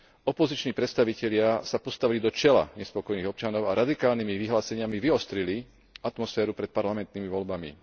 Opoziční predstavitelia sa postavili do čela nespokojných občanov a radikálnymi vyhláseniami vyostrili atmosféru pred parlamentnými voľbami.